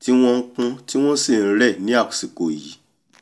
tí wọ́n npọ́n tí wọ́n sì nrẹ̀ ní àsìkò yìí